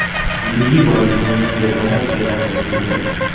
बिजली ही बादलों में गड़गड़ाहट पैदा करती है